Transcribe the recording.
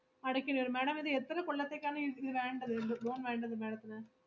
അടയ്ക്കല് വരും madam ഇത് എത്ര കൊല്ലത്തേക്കാണ് ഇത്~ ഇത് വേണ്ടത് lo~ loan വേണ്ടത് madam ത്തിന്.